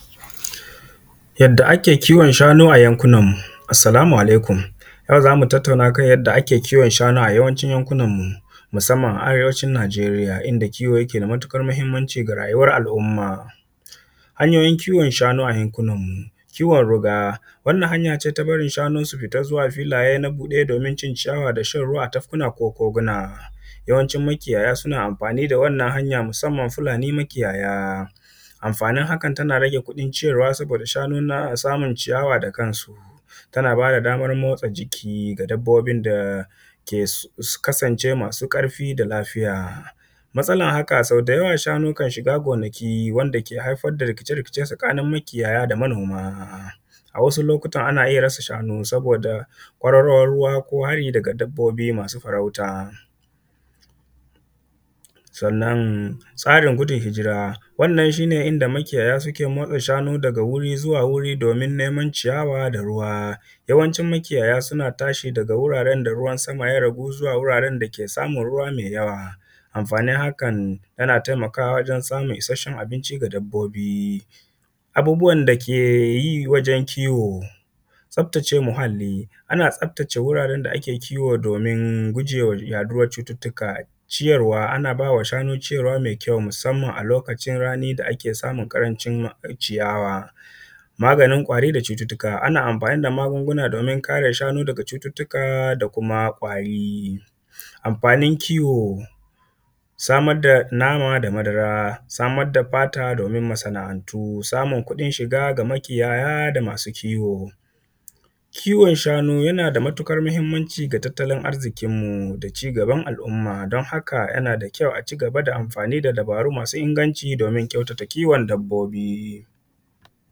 yadda ake kiwon shanu a yankunan mu assalamu alaikum a yau za mu tattauna a kan yadda a ke kiwon shanu a yawanci yankunan musamman a arewacin najeriya inda kiwo yake da matuƙar muhimmanci ga rayuwan al’umma hanyoyin kiwon shanu a yankunan mu kiwon ruga wannan hanya ce na barin shanu su fita na zuwa filaye na buɗe domin cin ciyawa shan ruwa a tafkuna ko koguna yawanci makiyaya suna amfani da wannan hanya musamman fulani makiyaya amfanin hakan tana rage kuɗin ciyarwa saboda shanun nan suna ciyawa da kansu tana ba da damar motsa jiki ga dabbobi da sun kasance masu ƙarfi da lafiya matsalar haka sau da yawa shanu su kan shiga gonaki wanda ke haifar da rikice rikice tsakanin makiyaya da manoma a wasu lokuta ana iya rasa shanu saboda kwararowar ruwa ko hari daga dabbobi masu farauta sannan tsarin gudun hijira wannan shine inda makiyaya suke motsa shanu daga guri zuwa guri domin neman ciyawa da ruwa yawancin makiyaya suna tashi daga guraren da ruwan sama ya ragu zuwa wuraren da ke samun ruwa mai yawa amfanin hakan yana taimakawa wajen samun ishashshen abinci ga dabbobi abubbuwan da ake yi wajen kiwo tsaftace muhalli ana tsaftace wuraren da ake kiwo domin gujewa yaɗuwan cututtuka ciyarwa ana ba wa shanu ciyarwa mai kyau musamman a lokacin rani da ake samun ƙarancin ciyawa maganin ƙwari da cututtuka ana amfani da magunguna domin kare shanu daga cututtuka da kuma ƙwari amfanin kiwo samar da nama da madara samar da fata domin masana'antu samun kuɗin shiga ga makiyaya da masu kiwo kiwon shanu yana da matuƙar muhimmanci ga tattalin arzikin mu da cigaban al’umma don haka yana da kyau a cigaba da amfani da dubaru masu inganci don kyautata kiwon dabbobi